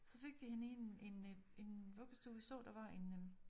Så fik vi hende i en en enøh vuggestue vi så der var en